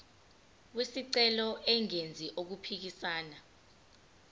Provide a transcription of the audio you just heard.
wesicelo engenzi okuphikisana